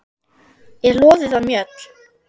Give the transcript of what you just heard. er loðið af mjöll.